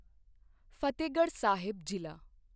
ਫਤਿਹਗੜ੍ਹ ਸਾਹਿਬ ਜ਼ਿਲ੍ਹਾ